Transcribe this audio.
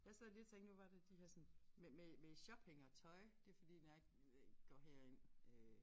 Jeg sad lige og tænkte nu var det de her sådan med med med shopping og tøj det fordi når jeg øh går herind øh